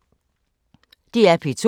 DR P2